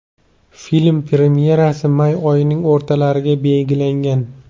Film premyerasi may oyining o‘rtalariga belgilangan.